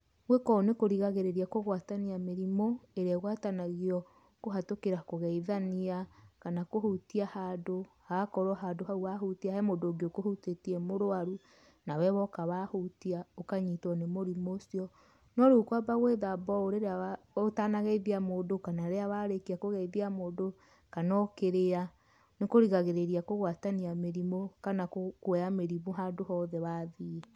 Gwĩka ũũ nĩ kũrigagĩrĩria kũgwatania mĩrimũ, ĩrĩa ĩgwatanagio kũhatukĩra kũgeithania kana kũhutia handũ hagakorwo handũ haũ wa hutia he mũndũ ũngĩ ũkũhutĩtie e mũrwaru nawe woka wa hutia ũkanyitwo nĩ mũrimũ ũcio. No rĩu kwamba gwĩthamba ũũ ũtanageithia mũndũ kana rĩrĩa warĩkia kũgeithia mũndũ, kana ũkĩrĩa nĩ kũrigagĩrĩria kũgwatania mĩrimũ kana kũoya mĩrimũ handũ hothe wathiĩ.